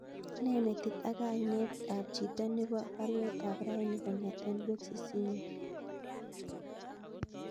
Ne metit ak kainet ab chito nebo baruet ab raini kongeten boxisinyun